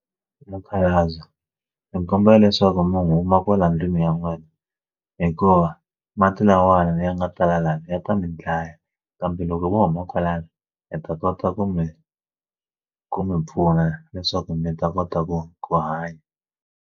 Mukhalabye mi kombela leswaku mi huma kwala ndlwini ya n'wina hikuva mati lawawani leyi nga tala lavaya ta mi dlaya kambe loko vo huma kwalano mi ta kota ku mi ku mi pfuna leswaku mi ta kota ku ku hanya.